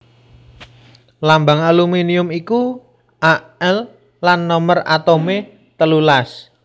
Lambang aluminium iku Al lan nomer atomé telulas